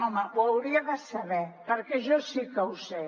home ho hauria de saber perquè jo sí que ho sé